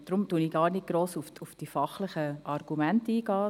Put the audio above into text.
Deshalb gehe ich nicht auf die fachlichen Argumente ein.